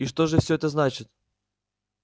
и что же всё это значит